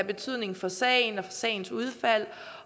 betydning for sagen og for sagens udfald